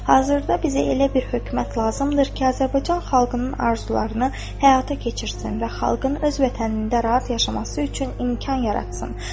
Hazırda bizə elə bir hökumət lazımdır ki, Azərbaycan xalqının arzularını həyata keçirsin və xalqın öz vətənində rahat yaşaması üçün imkan yaratsın.